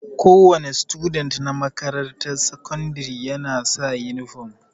Kowa ne student na makarantar sakandire ya na sa inifam